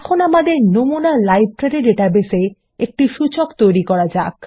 এখন আমাদের নমুনা লাইব্রেরী ডাটাবেসে একটি সূচক তৈরি করা যাক